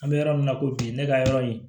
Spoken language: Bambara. An bɛ yɔrɔ min na ko bi ne ka yɔrɔ in